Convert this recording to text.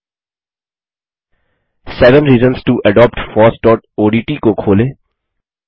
seven reasons to adopt fossओडीटी को खोलें